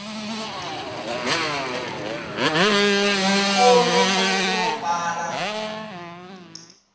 mukhomi wa mfanelo yo byala